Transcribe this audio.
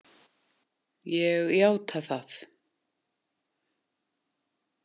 Ég játa það.